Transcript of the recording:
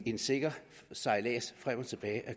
en sikker sejlads frem og tilbage